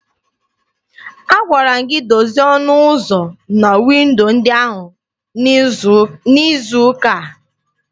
Agwara m gị dozie ọnụ ụzọ na windo ndị ahụ n'izu ụka a!